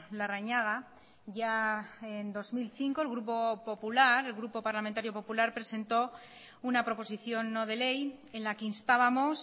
larrañaga ya en dos mil cinco el grupo popular el grupo parlamentario popular presentó una proposición no de ley en la que instábamos